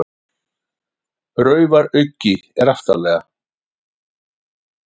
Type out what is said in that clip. Raufaruggi er aftarlega.